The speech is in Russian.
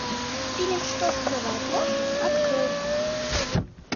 фильм что скрывает ложь открой